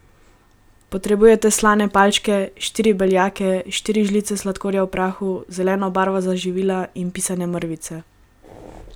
Potrebujete slane palčke, štiri beljake, štiri žlice sladkorja v prahu, zeleno barvo za živila in pisane mrvice.